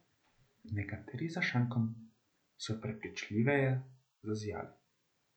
Nekateri za šankom so prepričljiveje zazijali.